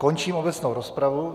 Končím obecnou rozpravu.